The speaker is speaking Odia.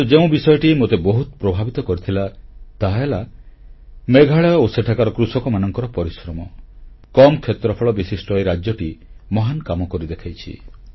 କିନ୍ତୁ ଯେଉଁ ବିଷୟଟି ମୋତେ ବହୁତ ପ୍ରଭାବିତ କରିଥିଲା ତାହାହେଲା ମେଘାଳୟ ଓ ସେଠାକାର କୃଷକମାନଙ୍କର ପରିଶ୍ରମ କମ୍ କ୍ଷେତ୍ରଫଳ ବିଶିଷ୍ଟ ଏହି ରାଜ୍ୟଟି ମହାନ କାମ କରି ଦେଖାଇଛି